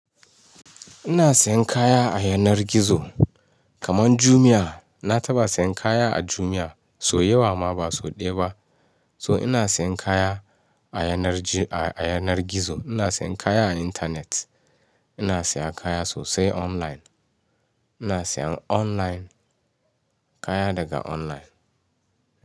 Ina sayan kaya a yanar gizo, kamar Jumia. Na taɓa sayan kaya a Jumia, so yawa ma ba so ɗaya ba. So ina sayan kaya a yanar gizo, ina sayan kaya a internet, ina siya kaya sosai online, ina sayan online, kaya daga online.